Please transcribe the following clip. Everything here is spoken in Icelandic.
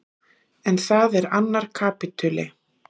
En það er annar kapítuli.